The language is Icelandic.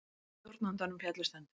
Stjórnandanum féllust hendur.